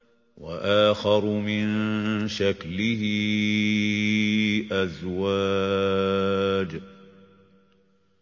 وَآخَرُ مِن شَكْلِهِ أَزْوَاجٌ